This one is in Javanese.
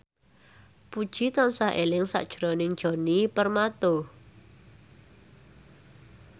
Puji tansah eling sakjroning Djoni Permato